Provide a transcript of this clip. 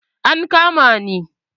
An kama ni.